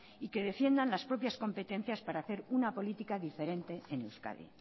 y que defiendan las propias competencias para hacer una política diferente en euskadi